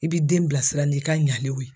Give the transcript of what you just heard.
I b'i den bilasira ni ka ɲalenw ye